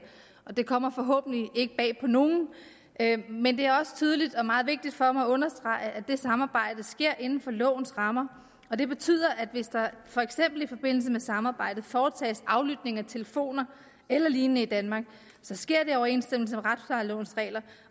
og det kommer forhåbentlig ikke bag på nogen men det er også tydeligt og meget vigtigt for mig at understrege at det samarbejde sker inden for lovens rammer og det betyder at det hvis der for eksempel i forbindelse med samarbejdet foretages aflytning af telefoner eller lignende i danmark så sker i overensstemmelse med retsplejelovens regler